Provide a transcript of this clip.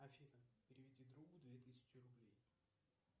афина переведи другу две тысячи рублей